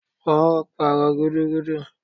Wọn ó pàrọ̀ gudug